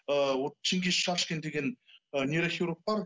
ы чингиз шашкин деген ы нейрохирург бар